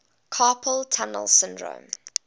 carpal tunnel syndrome